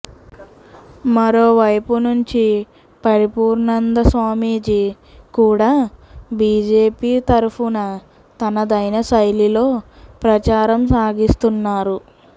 మరోవైపు నుంచి పరిపూర్ణానంద స్వామీజీ కూడా బీజేపీ తరఫున తనదైన శైలిలో ప్రచారం సాగిస్తున్నారు